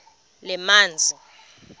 lezamanzi